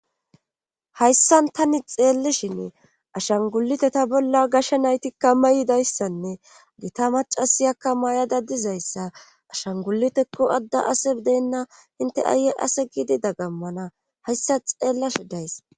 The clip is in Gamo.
Hayssan tani xeellishin ashangulite ta bolla gashe naytikka mayidayssanne gita macasiyakka may'ada dizayssa ashangulitekko adda ase deenna inte ayi ase giidi dagammana hayssa xeellashe days.